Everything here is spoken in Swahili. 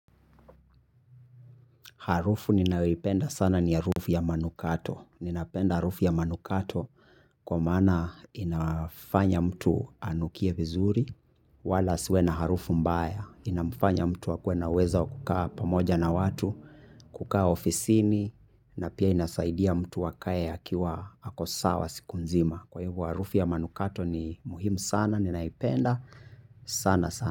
Harufu ninayoipenda sana ni harufu ya manukato. Ninapenda harufu ya manukato kwa maana infanya mtu anukie vizuri. Wala asiwe na harufu mbaya. Inafanya mtu akuwe anaweza kukaa pamoja na watu, kukaa ofisini. Na pia inasaidia mtu akae akiwa ako sawa siku nzima. Kwa hivyo harufu ya manukato ni muhimu sana. Ninaipenda sana sana.